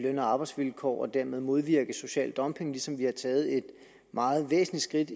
og arbejdsvilkår og dermed modvirke social dumping ligesom vi har taget et meget væsentligt